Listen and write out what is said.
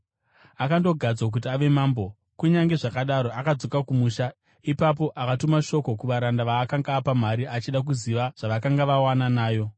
“Akandogadzwa kuti ave mambo, kunyange zvakadaro, akadzoka kumusha. Ipapo akatuma shoko kuvaranda vaakanga apa mari, achida kuziva zvavakanga vawana nayo.